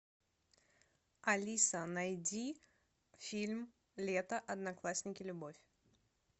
алиса найди фильм лето одноклассники любовь